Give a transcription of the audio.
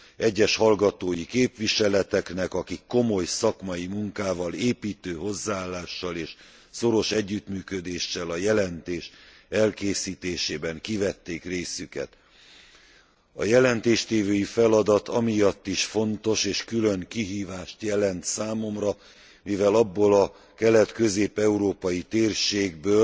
egyes hallgatói képviseleteknek, akik komoly szakmai munkával, építő hozzáállással és szoros együttműködéssel a jelentés elkészítésében kivették részüket. A jelentéstévői feladat amiatt is fontos és külön kihívást jelent számomra, mivel abból a kelet közép európai térségből,